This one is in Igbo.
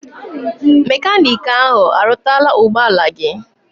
Mekaniki ahụ arụtala ụgbọ ala gị?